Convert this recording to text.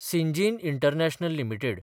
Syngene international limited